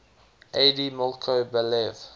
aide milko balev